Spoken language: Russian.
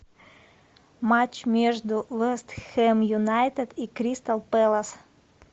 матч между вест хэм юнайтед и кристал пэлас